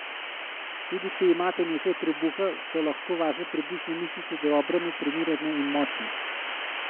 Tudi, če imate nekaj trebuha, so lahko vaše trebušne mišice dobro natrenirane in močne!